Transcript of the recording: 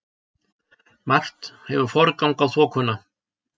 Margt hefur forgang á þokuna.